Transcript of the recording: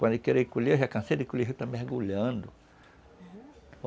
Quando ele querer ir colher, já cansei de colher, já está mergulhando, uhum.